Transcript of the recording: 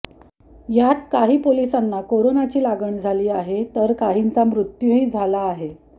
यात काही पोलिसांना कोरोनाची लागण झाली आहे कर काहींचा मृत्यूही झाला आहे